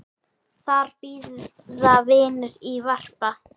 Þar bíða vinir í varpa.